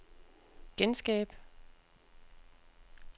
genskab